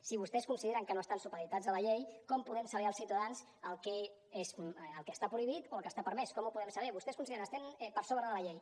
si vostès consideren que no estan supeditats a la llei com podem saber els ciutadans el que està prohibit o el que està permès com ho podem saber vostès consideren estem per sobre de la llei